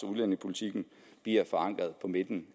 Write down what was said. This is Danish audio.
udlændingepolitikken bliver forankret på midten